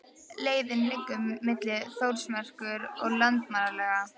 Leiðin liggur milli Þórsmerkur og Landmannalauga.